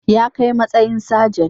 Ya kai matsayin sajent